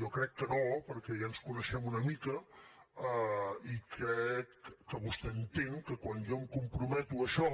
jo crec que no perquè ja ens coneixem una mica i crec que vostè entén que quan jo em comprometo a això